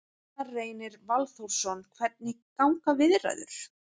Gunnar Reynir Valþórsson: Hvernig ganga viðræður?